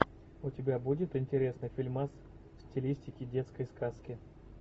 у тебя будет интересный фильмас в стилистике детской сказки